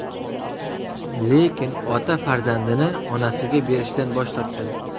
Lekin ota farzandini onasiga berishdan bosh tortgan.